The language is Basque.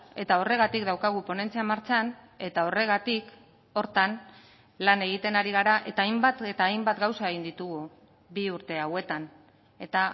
eta horregatik daukagu ponentzia martxan eta horregatik horretan lan egiten ari gara eta hainbat eta hainbat gauza egin ditugu bi urte hauetan eta